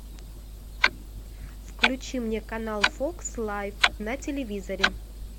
включи мне канал фокс лайф на телевизоре